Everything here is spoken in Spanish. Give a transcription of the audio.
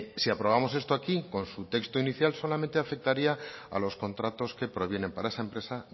si aprobamos esto aquí con su texto inicial solamente afectaría a los contratos que provienen para esa empresa